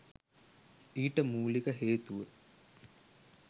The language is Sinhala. ඊට මූලික හේතුව